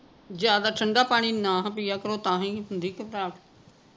ਜਿਆਦਾ ਠੰਡਾ ਪਾਣੀ ਨਾ ਪਿਆ ਕਰੋ ਤਾਂਹੀ ਹੁੰਦੀ ਘਬਰਾਹਟ